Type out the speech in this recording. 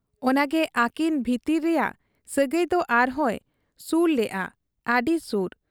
ᱚᱱᱟᱜᱮ ᱟᱹᱠᱤᱱ ᱵᱷᱤᱛᱤᱨ ᱨᱮᱭᱟᱜ ᱥᱟᱹᱜᱟᱹᱭ ᱫᱚ ᱟᱨᱦᱚᱸᱭ ᱥᱩᱨ ᱞᱮᱜ ᱟ, ᱟᱹᱰᱤ ᱥᱩᱨ ᱾